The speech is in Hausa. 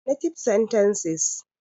Native Sentences